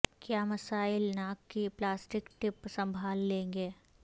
کیا مسائل ناک کی پلاسٹک ٹپ سنبھال لیں گے